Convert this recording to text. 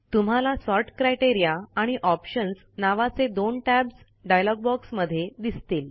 तुम्हाला sort criteria आणि options नावाचे दोन टॅब्स डायलॉग बॉक्समध्ये दिसतील